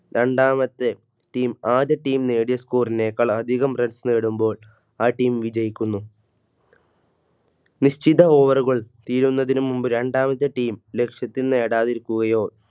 രണ്ടാമത്തെ Team ആദ്യ Team നേടിയ Score ക്കാൾഅധികം Runs നേടുമ്പോൾ ആ Team വിജയിക്കുന്നു. നിശ്ചിത Over കൾ തീരുന്നതിനു മുമ്പ് രണ്ടാമത്തെ Team ലക്ഷ്യത്തിൽ നേടാതിരിക്കുകയോ